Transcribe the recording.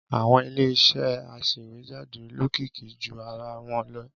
Àwọn Ilé-iṣẹ́ aṣèwéjádé lókìkí ju ara wọn lọ.